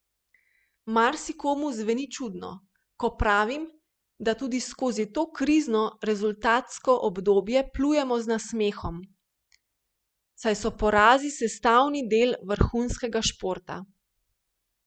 Marsikomu zveni čudno, ko pravim, da tudi skozi to krizno rezultatsko obdobje plujemo z nasmehom, saj so porazi sestavni del vrhunskega športa.